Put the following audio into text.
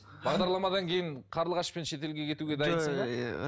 бағдарламадан кейін қарлығашпен шетелге кетуге дайынсың ба